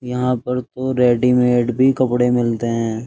यहाँ पर तो रेडीमेड भी कपड़े मिलते हैं।